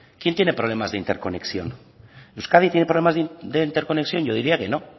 quién tiene problemas de interconexión euskadi tiene problemas de interconexión yo diría que no